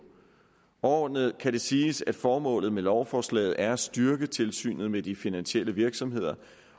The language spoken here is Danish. overordnet kan det siges at formålet med lovforslaget er at styrke tilsynet med de finansielle virksomheder